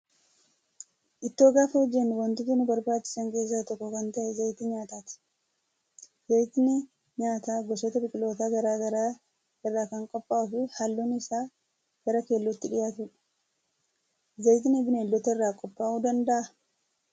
Ittoo gaafa hojjannu wantoota nu barbaachisan keessaa tokko kan ta'e zayita nyaataati. Zayitni nyaataa gosoota biqilootaa garaagaraa irraa kan qophaa'uu fi halluun isaa gara keellootti dhiyaatudha. Zayitni bineeldota irraa qophaa'uu danda'aa?